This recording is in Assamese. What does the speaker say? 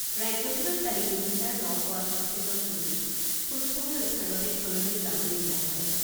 ৰাজ্যখনত কালি দুহেজাৰ ন শ এষষ্ঠিজন ৰোগীক সুস্থ হৈ উঠাৰ বাবে ঘৰলৈ যাবলৈ দিয়া হয়।